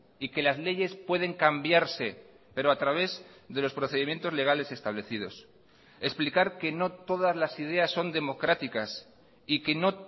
y que las leyes pueden cambiarse pero a través de los procedimientos legales establecidos explicar que no todas las ideas son democráticas y que no